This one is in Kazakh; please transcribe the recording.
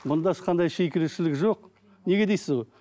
мұнда ешқандай жоқ неге дейсіз ғой